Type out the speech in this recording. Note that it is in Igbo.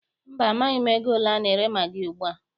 Mba, amaghị m ego ole a na-ere magị ugbua.